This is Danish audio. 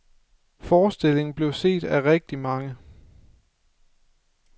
Forestillingen blev set af rigtig mange.